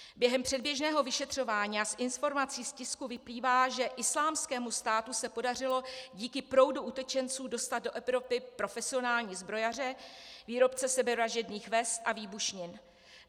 Během předběžného vyšetřování a z informací z tisku vyplývá, že Islámskému státu se podařilo díky proudu utečenců dostat do Evropy profesionální zbrojaře, výrobce sebevražedných vest a výbušnin.